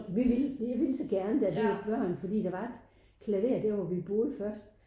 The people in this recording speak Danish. Vi ville jeg ville så gerne da vi var børn fordi der var et klaver der hvor vi boede først